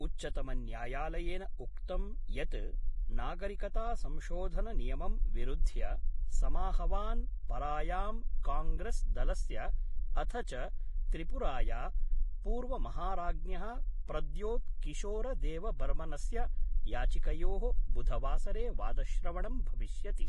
उच्चतमन्यायालयेन उक्तं यत् नागरिकतासंशोधननियमम् विरुध्य समाहवान् परायाम् काङ्ग्रेस्दलस्य अथ च त्रिपुराया पूर्वमहाराज्ञ: प्रद्योत् किशोरदेवबर्मनस्य याचिकयो: बुधवासरे वादश्रवणं भविष्यति।